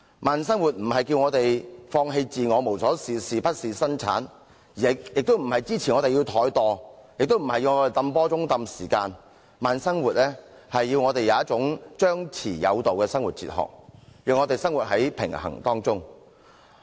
慢生活並非呼籲我們放棄自我、無所事事或不事生產，亦不是支持我們怠惰或"泵波鐘"拖延時間，而是要我們有一種張弛有度的生活哲學，讓我們活在平衡當中。